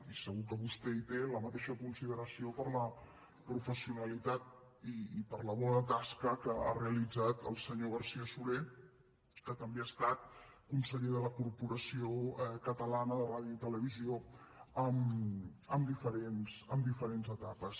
i segur que vostè té la mateixa consideració per la professionalitat i per la bona tasca que ha realitzat el senyor garcía soler que també ha estat conseller de la corporació catalana de ràdio i televisió en diferents etapes